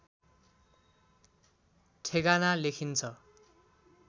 ठेगाना लेखिन्छ